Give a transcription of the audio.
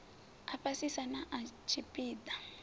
a fhasisa na sa tshipiḓa